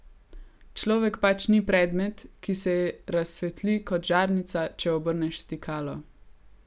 Človek pač ni predmet, ki se razsvetli kot žarnica, če obrneš stikalo.